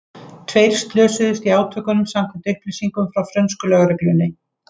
Tveir slösuðust í átökunum samkvæmt upplýsingum frá frönsku lögreglunni.